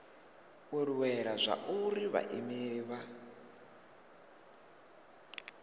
u lwela zwauri vhaimeleli vha